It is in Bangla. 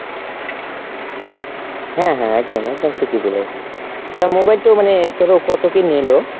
হ্যাঁ হ্যাঁ একদম, একদম ঠিকই বলেছো। তা mobile টো ধরো মানে কত কি নিলো ?